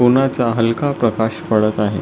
उन्हाचा हलका प्रकाश पडत आहे.